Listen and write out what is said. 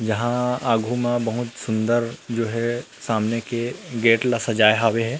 यहाँ आगू में बहुत सुन्दर जो हे सामने के गेट ला सजाए हावे हे।